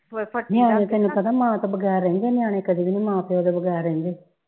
ਤੈਨੂੰ ਪਤਾ ਮਾਂ ਤੋਂ ਬਗੈਰ ਰਹਿੰਦੇ ਨਿਆਣੇ ਕਦੀ ਵੀ ਨਹੀਂ ਮਾਂ ਪਿਓ ਦੇ ਬਗੈਰ ਰਹਿੰਦੇ ਜਿੱਦਾ